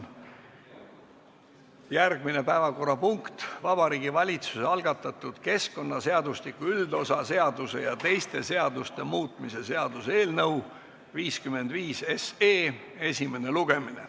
Järgmine päevakorrapunkt on Vabariigi Valitsuse algatatud keskkonnaseadustiku üldosa seaduse ja teiste seaduste muutmise seaduse eelnõu 55 esimene lugemine.